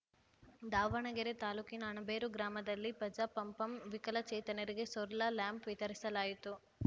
ದಾವಣಗೆರೆ ತಾಲೂಕಿನ ಅಣಬೇರು ಗ್ರಾಮದಲ್ಲಿ ಪಜಾ ಪಂಪಂ ವಿಕಲಚೇತನರಿಗೆ ಸೋರಲ ಲ್ಯಾಂಪ್‌ ವಿತರಿಸಲಾಯಿತು